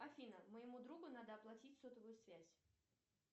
афина моему другу надо оплатить сотовую связь